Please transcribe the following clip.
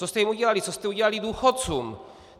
Co jste jim udělali, co jste udělali důchodcům.